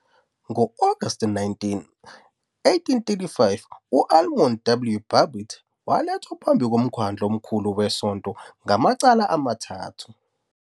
Ngo-August 19, 1835, u- Almon W. Babbitt walethwa phambi komkhandlu omkhulu wesonto ngamacala amathathu.